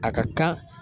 A ka kan